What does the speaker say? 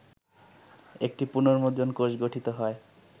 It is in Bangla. একটি পুনর্মুদ্রণ কোষ গঠিত হয়